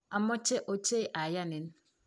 amoche ochei ayanin.